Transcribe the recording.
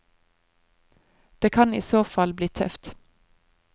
Det kan i så fall bli tøft.